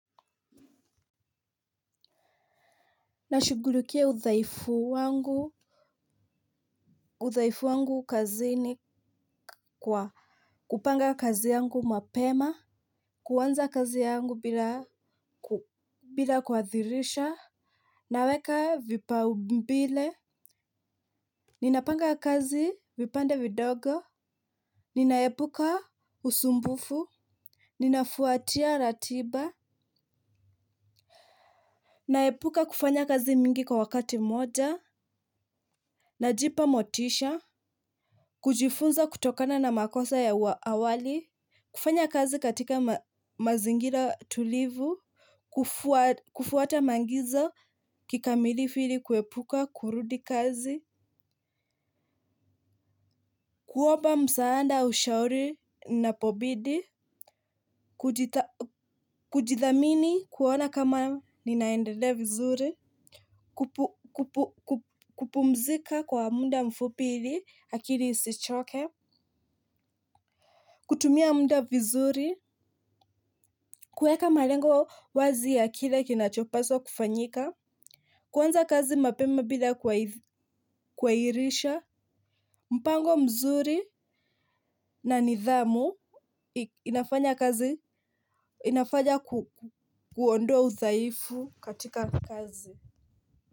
Nashughulikia uthaifu wangu. Udhaifu wangu kazi ni kwa kupanga kazi yangu mapema, kuanza kazi yangu bila kuadhirisha. Naweka vipao mbele. Ninapanga kazi vipande vidogo ninaepuka usumbufu ninafuatia ratiba, naepuka kufanya kazi mingi kwa wakati mmoja. Najipa motisha, kujifunza kutokana na makosa ya awali kufanya kazi katika mazingira tulivu, kufuata maagizo, kikamilifu kuepuka kurudi kazi, kuomba msaada, ushauri napobidi kujithamini kuona kama ninaendelea vizuri, kupumzika kwa muda mfupi ili akili isichoke, kutumia muda vizuri, kueka malengo wazi ya kile kinachopaswa kufanyika, kuanza kazi mapema bila kwairisha. Mpango mzuri na nidhamu nafanya kazi inafanya kuondoa uthaifu katika kazi.